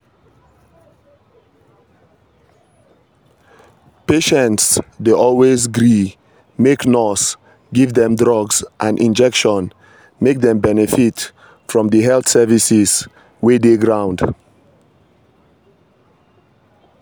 patients dey always gree make nurse give dem drugs and injection make dem benefit from di health services wey dey ground.